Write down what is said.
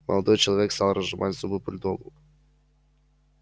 молодой человек стал разжимать зубы бульдогу